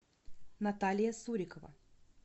наталья сурикова